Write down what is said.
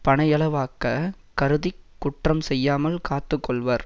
பனையளவாக கருதி குற்றம் செய்யாமல் காத்து கொள்வர்